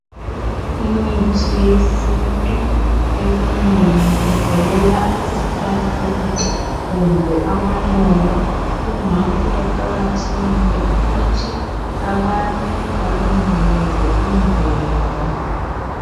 imithi yesintu eminengi ivelela ezihlahleni kumbe amaluba ingakho kuqakathekile ukuthi abantu balondoloze imvelo